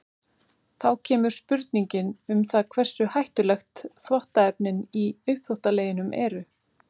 Þá kemur spurningin um það hversu hættuleg þvottaefnin í uppþvottaleginum eru.